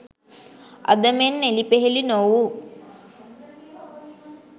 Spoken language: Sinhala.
අද මෙන් එළිපෙහෙළි නොවූ